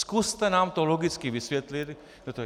Zkuste nám to logicky vysvětlit.